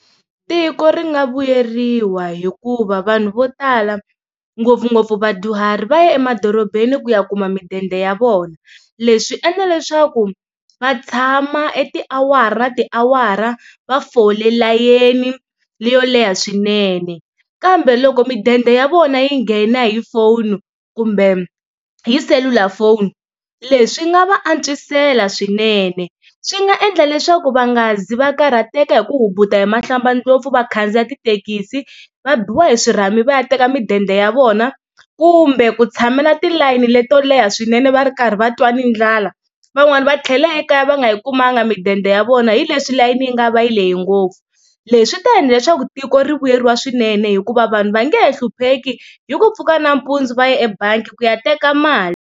Tiko ri nga vuyeriwa hikuva vanhu vo tala ngopfungopfu vadyuhari va ya emadorobeni ku ya kuma mudende ya vona, leswi endla leswaku va tshama e tiawara na tiawara va fole layeni leyo leha swinene kambe loko mudende ya vona yi nghena hi phone kumbe hi selulafoni leswi swi nga va antswisela swinene. Swi nga endla leswaku va nga zi va karhateka hi ku hubuta hi mahlambandlopfu va khandziya tithekisi va biwa hi swirhami va ya teka mudende ya vona kumbe ku tshamela tilayini leto leha swinene va ri karhi va twa ni ndlala van'wani va tlhela ekaya va nga yi kumanga mudende ya vona hi leswi layeni yi nga va yi lehe ngopfu leswi ta endla leswaku tiko ri vuyeriwa swinene hikuva vanhu va nge he hlupheki hi ku pfuka nanampundzu va ya ebangi ku ya teka mali.